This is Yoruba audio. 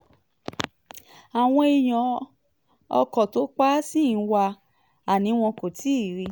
àwọn èèyàn ọkọ̀ tó pa ṣì ń wá a ni wọn kò tí ì rí i